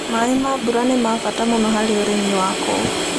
Maĩ ma mbura nĩ ma bata mũno harĩ ũrĩmi wa kũu.